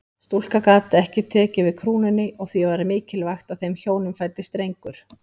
Stúlka gat ekki tekið við krúnunni og því var mikilvægt að þeim hjónum fæddist drengur.